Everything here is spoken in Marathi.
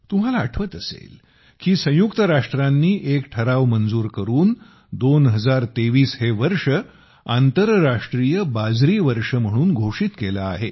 तुम्हाला आठवत असेल की संयुक्त राष्ट्रांनी एक ठराव मंजूर करून 2023 हे वर्ष आंतरराष्ट्रीय बाजरी वर्ष म्हणून घोषित केले आहे